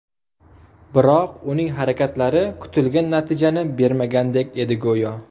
Biroq uning harakatlari kutilgan natijani bermagandek edi, go‘yo.